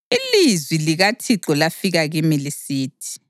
Ilizwi likaThixo lafika kimi lisithi: